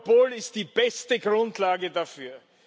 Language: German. Europol ist die beste Grundlage dafür.